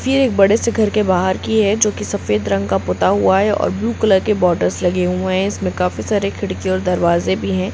ये एक बड़े से घर के बाहर की है जो कि सफेद रंग से पुता हुआ है और ब्लू कलर के बॉर्डर्स लगे हुए है इसमें काफी सारे खिड़की और दरवाज़े भी है।